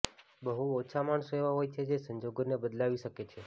બહુ ઓછા માણસો એવા હોય છે જે સંજોગોને બદલાવી શકે છે